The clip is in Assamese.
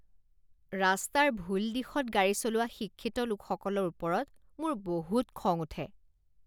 ৰাস্তাৰ ভুল দিশত গাড়ী চলোৱা শিক্ষিত লোকসকলৰ ওপৰত মোৰ বহুত খং উঠে।